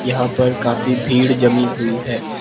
यहां पर काफी भीड़ जमी हुई है।